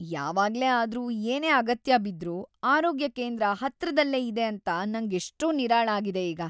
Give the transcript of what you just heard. ಯಾವಾಗ್ಲೇ ಆದ್ರೂ ಏನೇ ಅಗತ್ಯ ಬಿದ್ರೂ ಆರೋಗ್ಯ ಕೇಂದ್ರ ಹತ್ರದಲ್ಲೇ ಇದೆ ಅಂತ ನಂಗೆಷ್ಟೋ ನಿರಾಳ ಆಗಿದೆ ಈಗ.